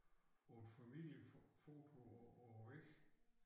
På et familiefoto på på æ væg